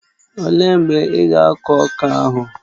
Ọ léé mgbe ị ga akụ ọka ahụ?